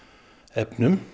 efnum